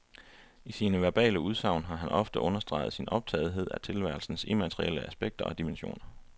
Og i sine verbale udsagn har han ofte understreget sin optagethed af tilværelsens immaterielle aspekter og dimensioner.